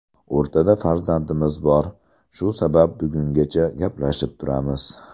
O‘rtada farzandlarimiz bor, shu sabab bugungacha gaplashib turamiz.